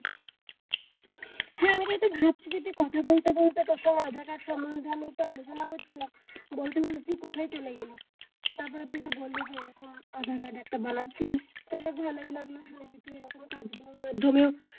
এইতো ভাবছি যদি কথা বলতে বলতে তোর সঙ্গে আধার কার্ড সম্মন্ধে আমি একটা আলোচনা করছিলাম বলতে বলতে তুই কোথায় চলে গেলি তারপরে তো তুই বললি যে তুই এইরকম আধার কার্ড একটা বানাচ্ছিলিস তা যাক ভালোই লাগলো শুনে তুই এইরকম কাজ গুলোর মাধ্যমেও,